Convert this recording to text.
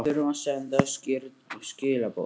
Við þurfum að senda skýr skilaboð